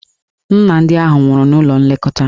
Nna ndị ahụ nwụrụ n'ụlọ nlekọta.